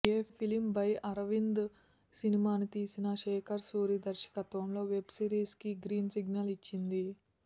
a film by Arvind సినిమాని తీసిన శేఖర్ సూరి దర్శకత్వంలో వెబ్ సిరిస్ కి గ్రీన్ సిగ్నల్ ఇచ్చింది